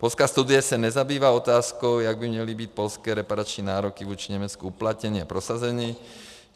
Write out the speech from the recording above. Polská studie se nezabývá otázkou, jak by měly být polské reparační nároky vůči Německu uplatněny a prosazeny.